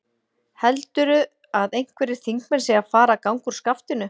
Heldurðu að einhverjir þingmenn séu að fara að ganga úr skaftinu?